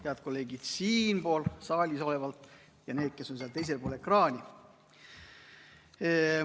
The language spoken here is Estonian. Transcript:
Head kolleegid siin saalis ja need, kes on seal teisel pool ekraani!